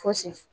Fosi